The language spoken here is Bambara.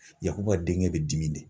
Yakuba denkɛ bɛ dimi de.